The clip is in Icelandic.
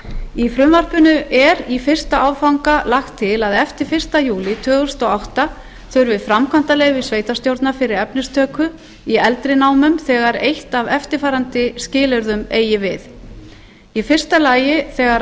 í frumvarpinu er í fyrsta áfanga lagt til að eftir fyrsta júlí tvö þúsund og átta þurfi framkvæmdaleyfi sveitarstjórnar fyrir efnistöku í eldri námum þegar eitt af eftirfarandi skilyrðum eigi við fyrstu þegar